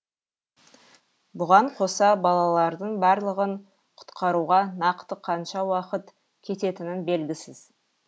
бұған қоса балалардың барлығын құтқаруға нақты қанша уақыт кететінін белгісіз